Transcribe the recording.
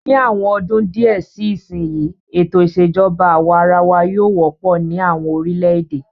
Ni àwọn ọdún díẹ̀ sí ìsìn yìí, ètò ìṣèjọba àwa arawa yóò wọ́pọ̀ ní àwọn orílẹ̀-èdè.